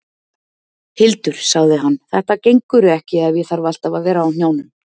Hildur, sagði hann, þetta gengur ekki ef ég þarf alltaf að vera á hnjánum.